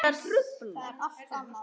Það er allt annað.